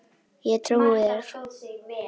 Ég trúi þér